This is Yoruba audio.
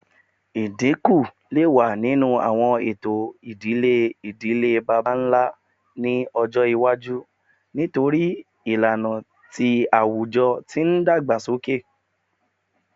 Idinku le wa ninu awọn eto idile idile baba-nla ni ọjọ iwaju nitori awọn ilana ti awujọ ti n dagbasoke